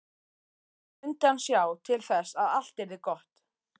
Svo mundi hann sjá til þess að allt yrði gott.